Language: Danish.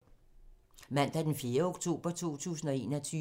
Mandag d. 4. oktober 2021